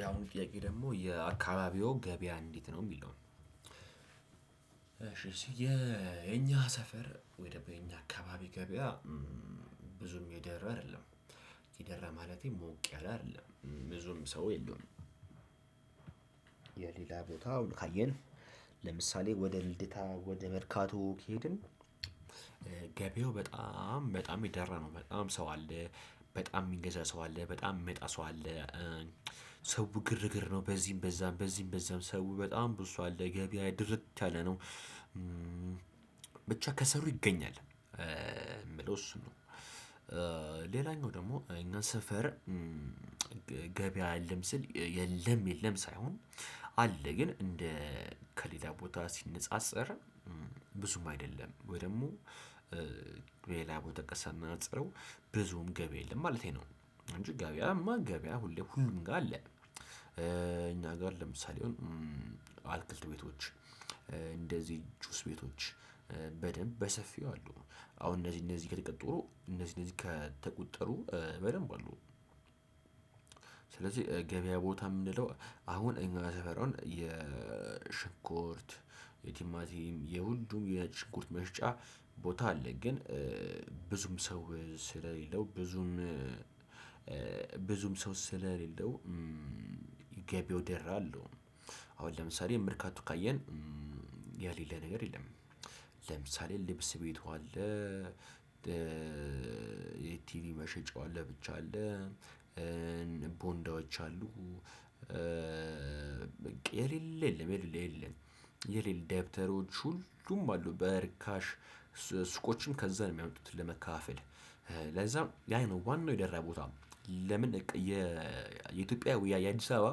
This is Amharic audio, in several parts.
ያሁኑ ጥያቄ ደግሞ የአካባቢዎ ገበያ እንዴት ነው የሚለው? እሺ ሲያ የኛ ሰፈር ወይ ደግሞ የኛ አካባቢ ገበያ እም ብዙም የደራ አይደለም የደራ ማለቴ ሞቅ ያለ አይደለም ብዙም ሰው የለውም። የሌላ ቦታው ካየን ለምሳሌ ወደ ልደታ ወደ መርካቶ ከሄድን። ገቢያው በጣም በጣም ይደራ ነው በጣም ሰው አለ። በጣም ሚገዛ ሰው አለ በጣም ሚመጣ ሰው አለ እ ሰው ግርግር ነው በዚህም በዛም በዚህም በዛም ሰው በጣም ብዙ አለ ገበያ ድርት ያለ ነው። ብቻ ከሰሩ ይገኛል እ ምለው እሱን ነው። ሌላኛው ደግሞ እኛ ሰፈር እ ገበያ የለም ስል የለም የለም ሳይሆን። አለ ግን እንደ ከሌላ ቦታ ሲነጻጸር እም ብዙም አይደለም ወይ ደግሞ ሌላ ቦታ ጋር ሳነፃፅረው ብዙም ገቢ የለም ማለቴ ነው። እንጂ ገቢያማ ገቢያ ሁሌ ሁሉም ጋር አለ እ እኛ ጋር ለምሳሌ አትክልት ቤቶች እንደዚህ ጁስ ቤቶች በደንብ በሰፊው አሉ። አሁን እነዚህ እነዚህ ከትቀጥሮ እነዚህ እነዚህ ከተቆጠሩ በደንብ አሉ። ስለዚህ ገበያ ቦታ የምንለው አሁን እኛ ሰፈር የሽንኮርት የቲማቲም የሁሉም የሽንኮርት መሽጫ ቦታ አለ። ግን ብዙም ሰው ስለሌለው ብዙም እ ብዙም ሰው ስለሌለው እ ገቢያው ደራ አልለውም። አሁን ለምሳሌ መርካቶ ካየን የሌለ ነገር የለም። ለምሳሌ ልብስ ቤቱ አለ። የቲቪ እ መሸጫው ለብቻ አለ። እ ቦንዳዎች አሉ እ በቃ የሌለ የለም የሌለ የሌለ የሌለ ደብተሮች ሁሉም አሉ። በርካሽ ሱቆችም ከዛ ነው የሚያወጡት ለመካፋፈል ለዛም ያ ነው ዋናው የደራ ቦታ። ለምን የኢትዮጵያ ውያይ አዲስ አበባ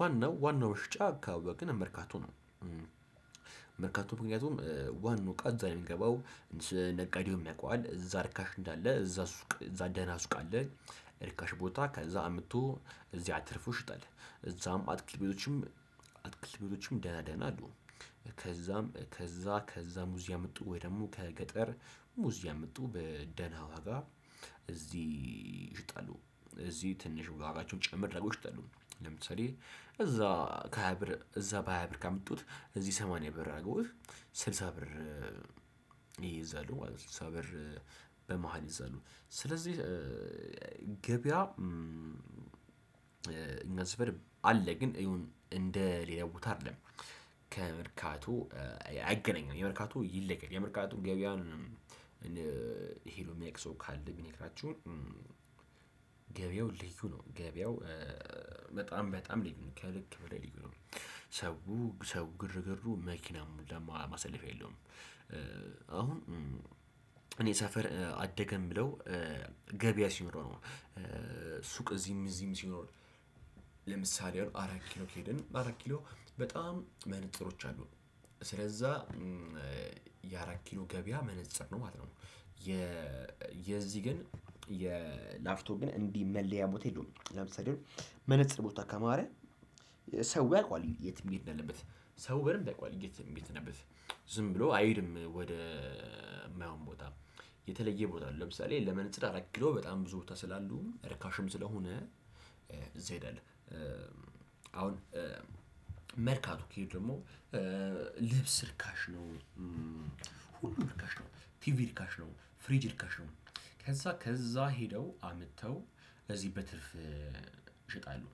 ዋናው ዋናው መሽጫ ካወቅን መርካቶ ነው። መርካቶ ምክንያቱም ዋናው እቃ እዛ ነው ሚገባው እስ ነጋዴውም ያቀዋል እዛ ርካሽ እንዳለ እዛ ሱቅ ደህና ሱቅ አለ። ርካሽ ቦታ ከዛ አምጥቶ እዚያ አርፎ ይሽጠህ እዛም አትክልት ቤቶችም አትክልት ቤቶችም ደህና ደህና አሉ። ከዛም ከዛ ከዛ ሙዝ ያመጡ ወይ ደግሞ ከገጠር ሙዝ ያመጡ በደህና ዋጋ እዚህ ይሽጠሉ እዚህ ትንሽ ዋጋቸውን ጭምር አርገው ይሽጠሉ ለምትሰሪ እዛ ከሃያ ብር እዛ በሃያ ብር ካመጡት እዚህ ሰማንያ ብር አድርጎ ስልሳ ብር። ይይዛሉ ማለት ነው ስልሳ ብር በመሃል ይይዛሉ። ስለዚህ ገበያ እም እኛ ስፈር አለ ግን ኢውን እንደ ሌላው ቦታ አይደለም። ከመርካቶ አይገናኝም የመርካቶ ይለያል የመርካቶ ገበያውን ሄዶ ሚያውቅ ሰው ካለ ቢነግራቸሁ። ገበያው ልዩ ነው ገበያው በጣም በጣም ልዩ ነው ከልክ በላይ ልዩ ነው። ሰው ሰው ግርግር መኪና ለማሳለፍ የለውም። አሁን እኔ ሰፈር አደገን ብለው ገበያ ሲኖረው ነው እዚህም እዚህም ሲኖር ለምሳሌ አራት ኪሎ ከሄድን አራት ኪሎ በጣም መነፅሮች አሉ እም ስለዛ የአራት ኪሎ ገበያ መነፅር ነው ማለት ነው። የዚህ ግን የላፍቶ ግን እንዲህ መለያ ቦታ የለውም። ለምሳሌ መነፅር ቦታ ካማረ ሰው ያውቃል የት መሄድ ነው እንዳለበት ሰው በደንብ ያውቃል የት መሄድ እንዳለበት። ዝም ብሎ አይሄድም ወደ ማይሆን ቦታ የተለየ ቦታ ነው። ለምሳሌ ለመነጽር አረግለው በጣም ብዙ ቦታ ስላሉ ርካሽም ስለሆነ እዚህ አይደለም። አሁን መርካቶ ከሄዱ ደግሞ እ ልብስ ርካሽ ነው። እም ሁሉም ርካሽ ነው ቲቪ ርካሽ ነው ፍሪጅ ርካሽ። ከዛ ከዛ ሄደው አምጥተው እዚህ በትርፍ ይሸጣለሁ።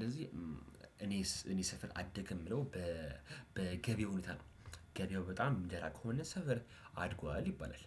ለዚህ እኔስ እኔ ሰፈር አደገ ምለው በ በገበያው ሁኔታ ነው ገበያው በጣም ሚደራ ከሆነ ሰፈር አድጓል ይባላል።